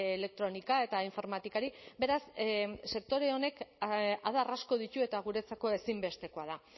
elektronika eta informatikari beraz sektore honek adar asko ditu eta guretzako ezinbestekoa da